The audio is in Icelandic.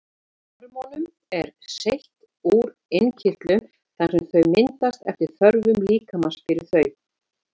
Hormónum er seytt úr innkirtlunum þar sem þau myndast eftir þörfum líkamans fyrir þau.